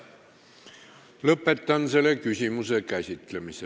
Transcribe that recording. Lõpetan selle küsimuse käsitlemise.